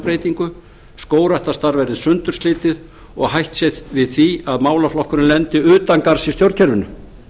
breytingu skógræktarstarf verði sundurslitið og hætt sé við því að málaflokkurinn lendi utangarðs í stjórnkerfinu